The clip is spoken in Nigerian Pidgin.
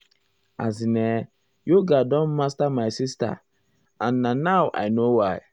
as in[um]yoga don master my sister sister um and na now i know why.